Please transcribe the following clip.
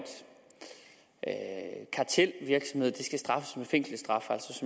kartelvirksomhed skal straffes med fængselsstraf